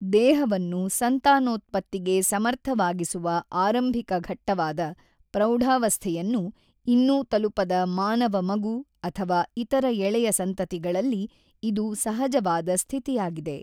ದೇಹವನ್ನು ಸಂತಾನೋತ್ಪತ್ತಿಗೆ ಸಮರ್ಥವಾಗಿಸುವ ಆರಂಭಿಕ ಘಟ್ಟವಾದ ಪ್ರೌಢಾವಸ್ಥೆಯನ್ನು ಇನ್ನೂ ತಲುಪದ ಮಾನವ ಮಗು ಅಥವಾ ಇತರ ಎಳೆಯ ಸಂತತಿಗಳಲ್ಲಿ ಇದು ಸಹಜವಾದ ಸ್ಥಿತಿಯಾಗಿದೆ.